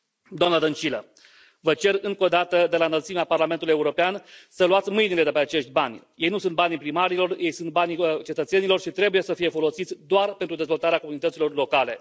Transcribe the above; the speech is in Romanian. Doamnă Dăncilă, vă cer încă o dată, de la înălțimea Parlamentul European, să luați mâinile de pe acești bani! Ei nu sunt bani primarilor, ei sunt banilor cetățenilor și trebuie să fie folosiți doar pentru dezvoltarea comunităților locale.